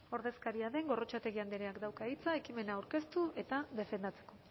ordezkaria den gorrotxategi andreak dauka hitza ekimen aurkeztu eta defendatzeko